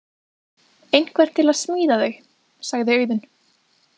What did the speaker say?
Einhvern til að smíða þau, sagði Auðunn.